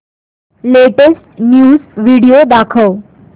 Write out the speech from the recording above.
latest news video दाखव